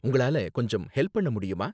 உங்களால கொஞ்சம் ஹெல்ப் பண்ண முடியுமா?